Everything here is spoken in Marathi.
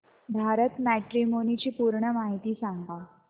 भारत मॅट्रीमोनी ची पूर्ण माहिती सांगा